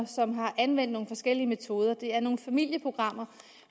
som har anvendt nogle forskellige metoder det er nogle familieprogrammer